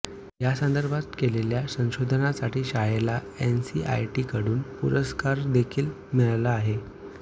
या संदर्भात केलेल्या संशोधनासाठी शाळेला एनसीआरटीकडून पुरस्कारदेखील मिळाला आहे